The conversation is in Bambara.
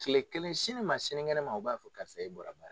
Kile kelen sini ma sinikɛnɛ ma o ba fɔ karisa e bɔra ba